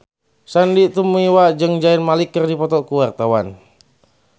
Sandy Tumiwa jeung Zayn Malik keur dipoto ku wartawan